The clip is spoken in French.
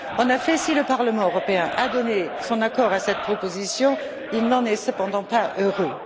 En effet, si le Parlement européen a donné son accord à cette proposition, il n'en est cependant pas heureux.